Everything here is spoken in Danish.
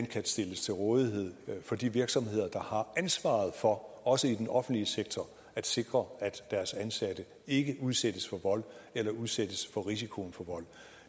kan stilles til rådighed for de virksomheder der har ansvaret for også i den offentlige sektor at sikre at deres ansatte ikke udsættes for vold eller udsættes for risikoen for vold